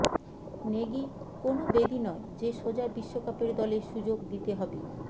Nikki কোনও বেদী নয় যে সোজা বিশ্বকাপের দলে সুযোগ দিতে হবে